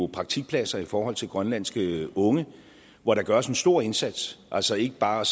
praktikpladser i forhold til grønlandske unge hvor der gøres en stor indsats altså ikke bare